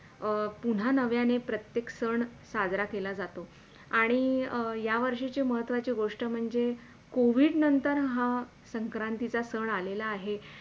अं पुनः नव्याने प्रत्येक सण साजरा केल्या जातो आणि या वर्षाची महत्वाची गोष्ट म्हणजे COVID नंतर हा संक्रांतीचा सण आलेला आहे.